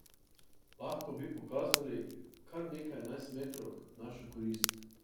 Lahko bi pokazali kar nekaj enajstmetrovk v našo korist.